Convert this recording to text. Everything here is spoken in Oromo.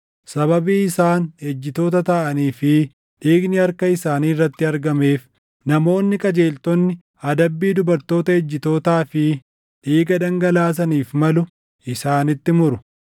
Sababii isaan ejjitoota taʼanii fi dhiigni harka isaanii irratti argameef, namoonni qajeeltonni adabbii dubartoota ejjitootaa fi dhiiga dhangalaasaniif malu isaanitti muru.